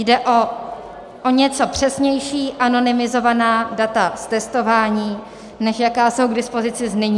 Jde o o něco přesnější anonymizovaná data z testování, než jaká jsou k dispozici nyní.